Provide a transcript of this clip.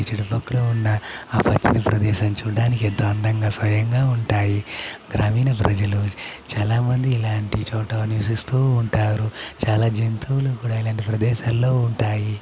ఈ చుట్టుపక్కల ఉన్న ఆ పచ్చని ప్రదేశాలు చూడడానికి ఎంతో అందంగా స్వయంగా ఉంటాయి గ్రామీణ ప్రజలు చాలా మంది ఇలాంటి చోట నివసిస్తూ ఉంటారు చాలా జంతువులు కూడా ఇలాంటి ప్రదేశాల్లో ఉంటాయి.